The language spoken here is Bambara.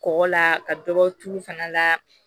Kɔgɔ la ka dɔ bɔ tulu fana la